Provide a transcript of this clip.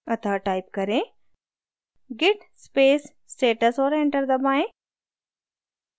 अतः type करें: git space status और enter दबाएँ